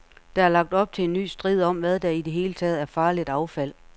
Der er lagt op til en ny strid om, hvad der i det hele taget er farligt affald.